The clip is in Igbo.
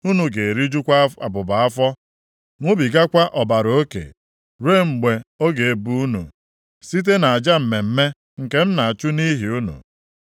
Unu ga-erijukwa abụba afọ, ṅụbigakwa ọbara oke ruo mgbe ọ ga-ebu unu, site nʼaja mmemme nke m na-achụ nʼihi unu.